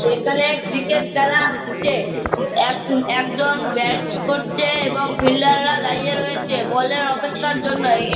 এখানে ক্রিকেট খেলা হচ্ছে। এক একজন ব্যাট করছে এবং ফিল্ডার -রা দাঁড়িয়ে রয়েছে বলের অপেক্ষার জন্য এ--